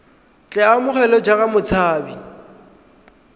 tle a amogelwe jaaka motshabi